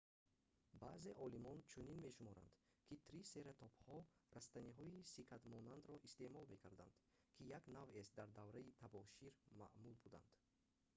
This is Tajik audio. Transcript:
баъзе олимон чунин мешуморанд ки трисератопҳо растаниҳои сикадмонандро истеъмол мекарданд ки як навъест дар давраи табошир маъмул буданд